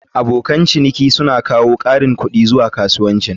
Abokan ciniki suna kawo ƙarin kuɗi zuwa kasuwancin.